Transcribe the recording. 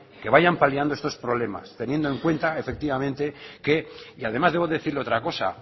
que vayan paliando estos problemas teniendo en cuenta efectivamente que y además debo decirle otra cosa